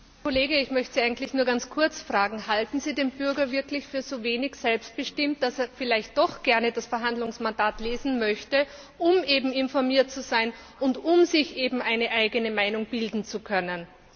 Herr Kollege, ich möchte Sie nur ganz kurz fragen Halten Sie den Bürger wirklich für so wenig selbstbestimmt, dass er vielleicht doch gerne das Verhandlungsmandat lesen möchte, um eben informiert zu sein und um sich eben eine eigene Meinung bilden zu können?